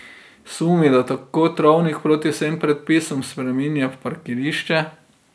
Sumi, da tako travnik proti vsem predpisom spreminja v parkirišče.